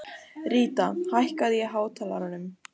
Ríta, hækkaðu í hátalaranum.